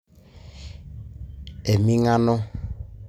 Emingano.